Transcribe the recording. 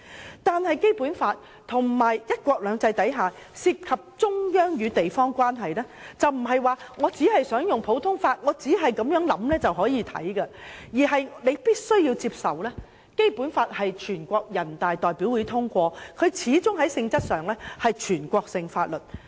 可是，在《基本法》及"一國兩制"之下涉及中央與地方關係時，卻不能說我只想按普通法原則處理便可以，我們必須接受《基本法》是全國人民代表大會常務委員會通過，在性質上始終是全國性法律。